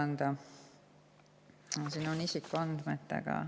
Siin on isikuandmetega.